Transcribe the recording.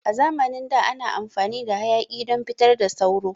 A zamanin da ana amfani da hayaƙi don fitar da sauro.